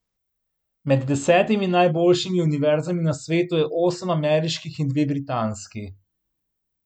Med desetimi najboljšimi univerzami na svetu je osem ameriških in dve britanski.